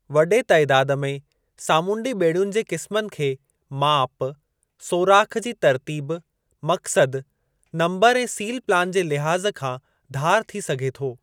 वॾे तइदादु में सामूंडी ॿेड़ियुनि जे क़िस्मनि खे माप, सोराख़ जी तर्तीब, मक़्सदु, नम्बरु ऐं सीलु प्लान जे लिहाज़ खां धार थी सघे थो।